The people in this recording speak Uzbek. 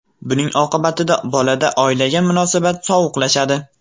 Buning oqibatida bolada oilaga munosabat sovuqlashadi.